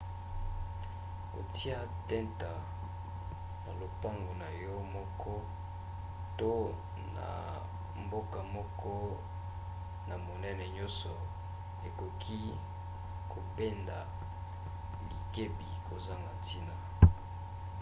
kotia tenta na lopango na yo moko to na mboka moko na monene nyonso ekoki kobenda likebi kozanga ntina